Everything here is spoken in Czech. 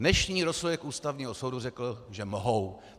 Dnešní rozsudek Ústavního soudu řekl, že mohou.